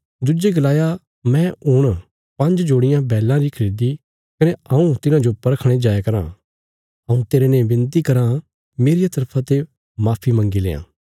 दुज्जे गलाया मैं हुण पांज्ज जोड़ियां बैलां री खरीदी कने हऊँ तिन्हाजो परखणे जाया राँ हऊँ तेरने विनती कराँ मेरिया तरफा ते माफी मंग्गी लेआं